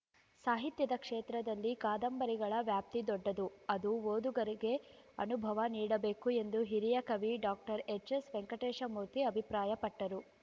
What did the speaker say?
ಸಾಹಿತ್ಯದ ಕ್ಷೇತ್ರದಲ್ಲಿ ಕಾದಂಬರಿಗಳ ವ್ಯಾಪ್ತಿ ದೊಡ್ಡದು ಅದು ಓದುಗರಿಗೆ ಅನುಭವ ನೀಡಬೇಕು ಎಂದು ಹಿರಿಯ ಕವಿ ಡಾಕ್ಟರ್ ಎಚ್ಎಸ್ವೆಂಕಟೇಶ ಮೂರ್ತಿ ಅಭಿಪ್ರಾಯಪಟ್ಟರು